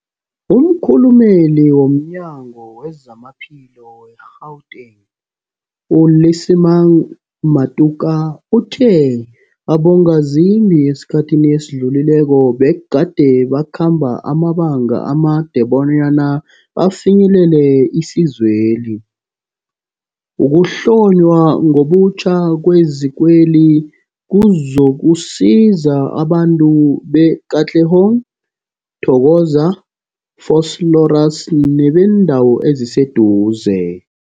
Umkhulumeli womNyango weZamaphilo we-Gauteng, u-Lesemang Matuka uthe abongazimbi esikhathini esidlulileko begade bakhamba amabanga amade bona bafinyelele isizweli. Ukuhlonywa ngobutjha kwezikweli kuzokusiza abantu be-Katlehong, Thokoza, Vosloorus nebeendawo eziseduze.